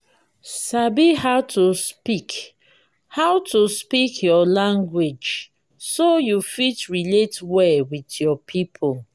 sabi how to speak how to speak your language so you fit relate well with your people